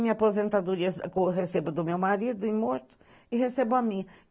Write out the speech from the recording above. Minha aposentadoria eu recebo do meu marido, imorto, e recebo a minha.